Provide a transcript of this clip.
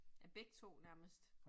Ja, begge 2 nærmest